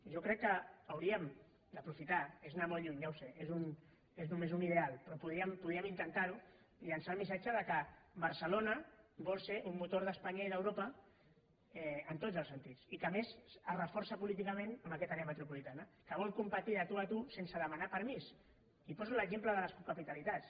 jo crec que hauríem d’aprofitar és anar molt lluny ja ho sé és només un ideal però podríem intentar ho llençar el missatge que barcelona vol ser un motor d’espanya i d’europa en tots els sentits i que a més es reforça políticament en aquesta àrea metropolitana que vol competir de tu a tu sense demanar permís i poso l’exemple de les capitalitats